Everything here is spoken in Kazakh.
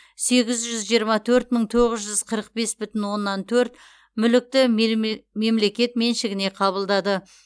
сегіз жүз жиырма төрт мың тоғыз жүз қырық бес бүтін оннан төрт мүлікті мемлекет меншігіне қабылдады